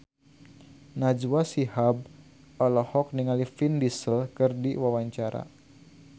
Najwa Shihab olohok ningali Vin Diesel keur diwawancara